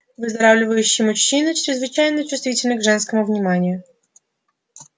выздоравливающие мужчины чрезвычайно чувствительны к женскому вниманию